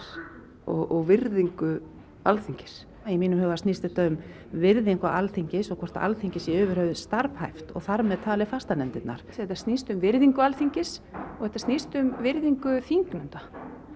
og virðingu Alþingis í mínum huga snýst þetta um virðingu Alþingis og og hvort Alþingi sé yfir höfuð starfhæft og þar með talið fastanefndirnar þetta snýst um virðingu Alþingis og þetta snýst um virðingu þingnefnda